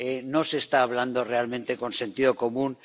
No se está hablando realmente con sentido común.